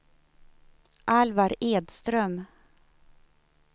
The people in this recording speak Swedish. Alvar Edström